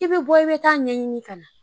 I be bɔ i be taa ɲɛɲini ka na